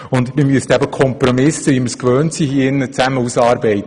Und wir müssten, wie wir das hier gewohnt sind, zusammen Kompromisse ausarbeiten.